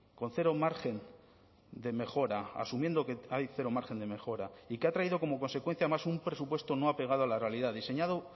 con cero margen de mejora asumiendo que hay cero margen de mejora y que ha traído como consecuencia además un presupuesto no apegado a la realidad diseñado